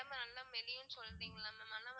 ஆனா உடம்ப நல்லா மெலியும்னு சொல்றிங்களா mam